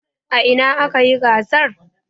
A ina aka yi gasar?